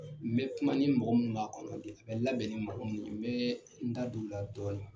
N bɛ kuma ni mɔgɔ min kan kɔrɔlen, a bɛ labɛn ni mɔgɔ min ye, n bɛ n da don o la dɔɔnin.